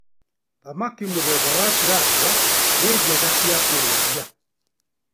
Thamaki mũthemba wa tirapia nĩ njega cia kũrĩithia.